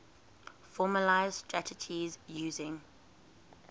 formalised strategies using